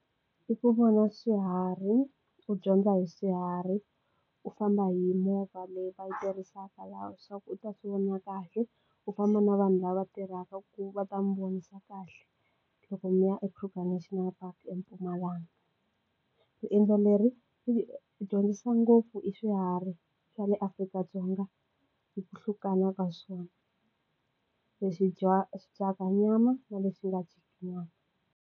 I ku vona swiharhi u dyondza hi swiharhi u famba hi movha leyi va yi tirhisaka laha swa ku u ta swi vona kahle u famba na vanhu lava tirhaka ku va ta n'wi vonisa kahle loko mi ya eKruger National Park eMpumalanga riendzo leri yi dyondzisa ngopfu i swiharhi swa le Afrika-Dzonga hi ku hlukana ka swona leswi dyaka swi dyaka nyama na lexi nga dyiki nyama.